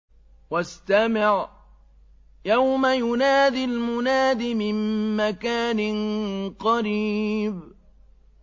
وَاسْتَمِعْ يَوْمَ يُنَادِ الْمُنَادِ مِن مَّكَانٍ قَرِيبٍ